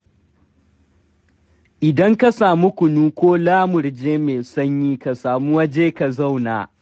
Idan ka samu kunu ko lamurje mai sanyi, ka sami waje ka zauna.